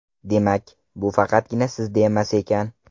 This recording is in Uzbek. Demak, bu faqatgina sizda emas ekan.